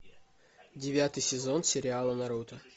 девятый сезон сериала наруто